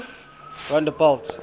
rondebult